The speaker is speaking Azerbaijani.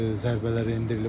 Zərbələr endirilib.